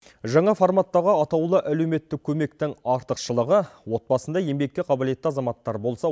жаңа форматтағы атаулы әлеуметтік көмектің артықшылығы отбасында еңбекке қабілетті азаматтар болса